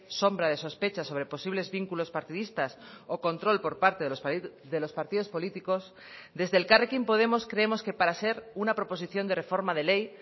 sombra de sospecha sobre posibles vínculos partidistas o control por parte de los partidos políticos desde elkarrekin podemos creemos que para ser una proposición de reforma de ley